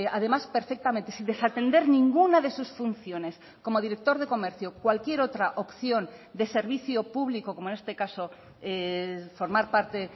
además perfectamente sin desatender ninguna de sus funciones como director de comercio cualquier otra opción de servicio público como en este caso formar parte